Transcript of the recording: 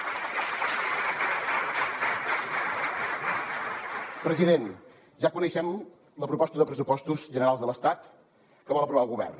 president ja coneixem la proposta de pressupostos generals de l’estat que vol aprovar el govern